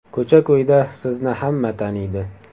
Ko‘cha-ko‘yda sizni hamma taniydi.